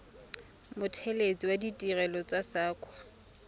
mothelesi wa ditirelo tsa saqa